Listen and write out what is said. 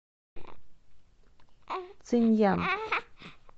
циньян